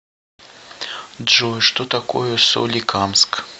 джой что такое соликамск